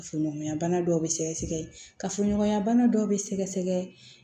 Kafoɲɔgɔnya bana dɔw bɛ sɛgɛsɛgɛ kafoɲɔgɔnya bana dɔw bɛ sɛgɛsɛgɛ